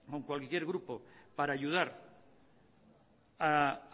con cualquier grupo para ayudar a